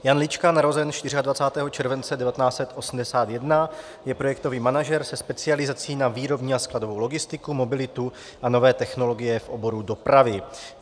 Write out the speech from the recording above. Jan Lička, narozen 24. července 1981, je projektový manažer se specializací na výrobní a skladovou logistiku, mobilitu a nové technologie v oboru dopravy.